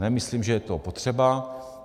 Nemyslím, že je to potřeba.